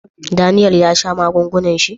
"Daniel" ya sha magungunan shi?